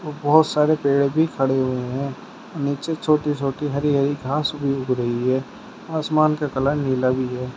बहोत सारे पेड़ भी खड़े हुए हैं नीचे छोटी छोटी हरी हरी घास उ उग रही है आसमान का कलर नीला भी है।